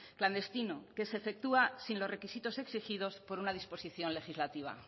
clandestino que se efectúa sin los requisitos exigidos por una disposición legislativa